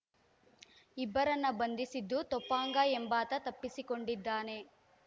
ಇಬ್ಬರನ್ನ ಬಂಧಿಸಿದ್ದು ತೊಪಾಂಗ ಎಂಬಾತ ತಪ್ಪಿಸಿಕೊಂಡಿದ್ದಾನೆ